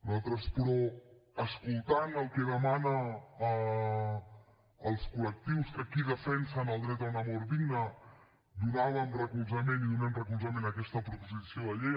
nosaltres però escoltant el que demanen els col·lectius que aquí defensen el dret a una mort digna donàvem recolzament i donem recolzament a aquesta proposició de llei